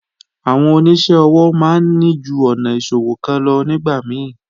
Àwọn oníṣẹ́ ọwọ́ máa ń ní ju ọ̀nà ìṣòwò kan lọ nígbà mí